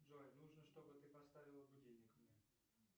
джой нужно чтобы ты поставила будильник мне